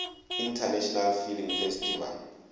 international film festival